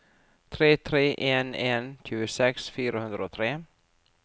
tre tre en en tjueseks fire hundre og tre